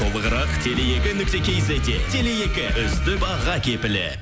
толығырақ теле екі нүкте кизетте теле екі үздік баға кепілі